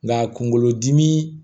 Nka kunkolodimi